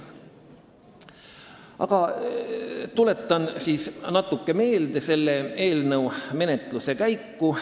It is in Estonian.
Aga tuletan natuke meelde selle eelnõu menetluse käiku.